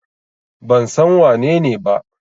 Ban san wanene ba.